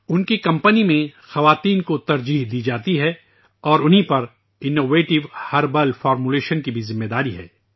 ان کی کمپنی میں خواتین کو ترجیح دی جاتی ہے اورانہیں پر وہ جدید جڑی بوٹیوں کی تشکیل کی بھی ذمہ داری ہے